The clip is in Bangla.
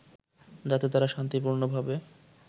যাতে তারা শান্তিপূর্ণভাবে